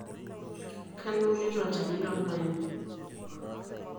Kanu iunito olchani loormaembe?